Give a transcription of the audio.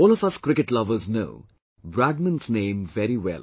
All of us cricket lovers know Bradman's name very well